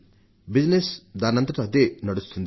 వ్యాపారం దానంతట అదే నడుస్తుంది